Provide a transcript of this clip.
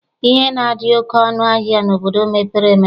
Ihe na-adị oke ọnụ ahịa n'obodo mepere emepe.